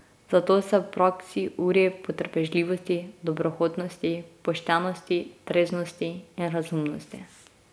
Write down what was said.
Zato se v praksi uri v potrpežljivosti, dobrohotnosti, poštenosti, treznosti in razumnosti.